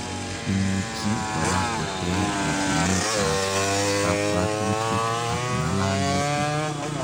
Imuchii koraa koter etuneet ap kabwatutik ak ngalalutik